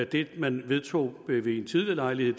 det man vedtog ved en tidligere lejlighed